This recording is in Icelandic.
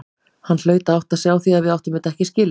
Hann hlaut að átta sig á því að við áttum þetta ekki skilið.